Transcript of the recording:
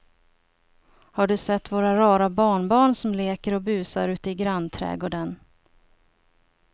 Har du sett våra rara barnbarn som leker och busar ute i grannträdgården!